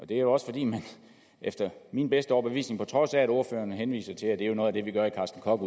det er jo også fordi man efter min bedste overbevisning og på trods af at ordføreren henviser til at det jo er noget af det vi gør i carsten koch